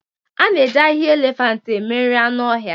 A na-eji ahihia elefianti eme nri anụ ọhịa,